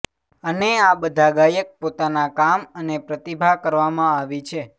અને આ બધા ગાયક પોતાના કામ અને પ્રતિભા કરવામાં આવી છે